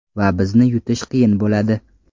Va bizni yutish qiyin bo‘ladi.